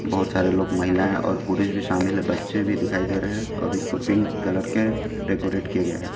बहोत सारे लोग महिलाएं और पुरुष भी शामिल है बच्चे भी दिखाई दे रहे हैं और इसको पिंक कलर के डेकोरेट किया गया है।